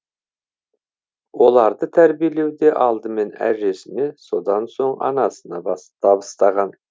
оларды тәрбиелеуді алдымен әжесіне содан соң анасына табыстаған